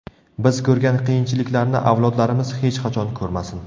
Biz ko‘rgan qiyinchiliklarni avlodlarimiz hech qachon ko‘rmasin.